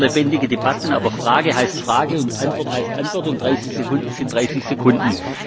Ich bin auch für lebendige Debatten, aber Frage heißt Frage und Antwort heißt Antwort, und 30 Sekunden sind 30 Sekunden.